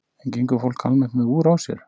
En gengur fólk almennt með úr á sér?